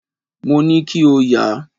Mo ní kí o yà.